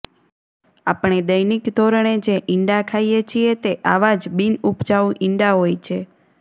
આપણે દૈનિક ધોરણે જે ઇંડા ખાઈએ છીએ તે આવા જ બિનઉપજાઉ ઇંડા હોય છે